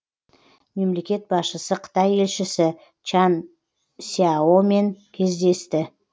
мемлекет басшысы қытай елшісі чан сьяомен кездесті